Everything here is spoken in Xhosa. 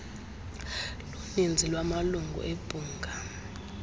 luninzi lwamalungu ebhunga